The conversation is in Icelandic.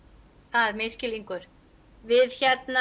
það er misskilningur við